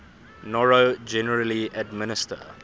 noro generally administer